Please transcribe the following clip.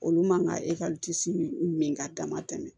Olu man ka min min ka dama tɛmɛ